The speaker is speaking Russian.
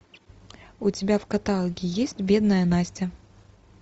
у тебя в каталоге есть бедная настя